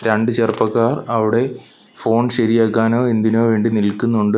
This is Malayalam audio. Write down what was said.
രണ്ടു ചെറുപ്പക്കാർ അവിടെ ഫോൺ ശരിയാക്കാനോ എന്തിനോ വേണ്ടി നിൽക്കുന്നുണ്ട്.